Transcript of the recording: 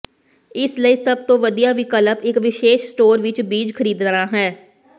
ਇਸ ਲਈ ਸਭ ਤੋਂ ਵਧੀਆ ਵਿਕਲਪ ਇਕ ਵਿਸ਼ੇਸ਼ ਸਟੋਰ ਵਿਚ ਬੀਜ ਖਰੀਦਣਾ ਹੈ